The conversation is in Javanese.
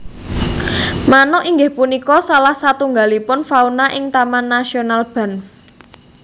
Manuk inggih punika salah satunggalipun fauna ing Taman nasional Banff